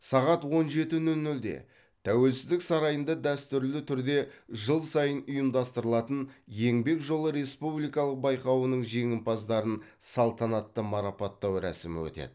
сағат он жеті нөл нөлде тәуелсіздік сарайында дәстүрлі түрде жыл сайын ұйымдастырылатын еңбек жолы республикалық байқауының жеңімпаздарын салтанатты марапаттау рәсімі өтеді